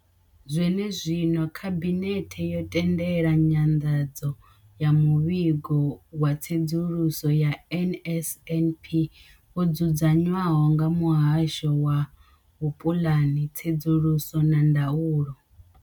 Zwenezwino, Khabinethe yo tendela nyanḓadzo ya muvhigo wa tsedzuluso ya NSNP wo dzudzanywaho nga muhasho wa vhupuḽani, tsedzuluso na ndaulo.